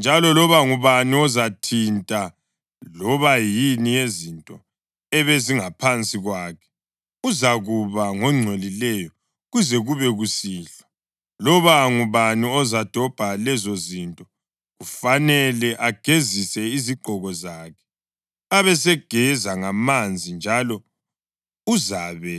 njalo loba ngubani ozathinta loba yini yezinto ebezingaphansi kwakhe uzakuba ngongcolileyo kuze kube kusihlwa, loba ngubani ozadobha lezozinto, kufanele agezise izigqoko zakhe, abesegeza ngamanzi, njalo uzabe